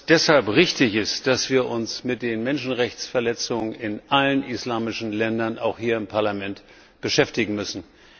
Deshalb ist es richtig, dass wir uns mit den Menschenrechtsverletzungen in allen islamischen Ländern auch hier im Parlament beschäftigen müssen.